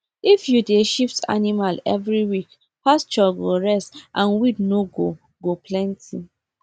if you dey shift animal every week pasture go rest and weed no go go plenty